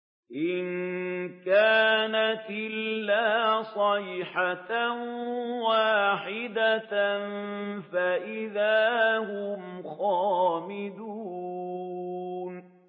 إِن كَانَتْ إِلَّا صَيْحَةً وَاحِدَةً فَإِذَا هُمْ خَامِدُونَ